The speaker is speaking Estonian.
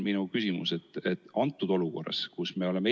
Minu küsimus aga on selline.